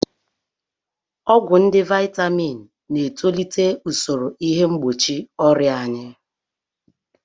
Ọgwụ ndị Vaitamin na-etolite usoro ihe mgbochi ọrịa anyị.